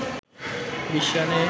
২০ রানে